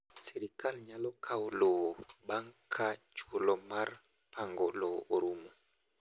Sirkal nyalo kawo lowo bang’ ka chuolo mar pango lowo orumo.